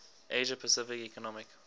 asia pacific economic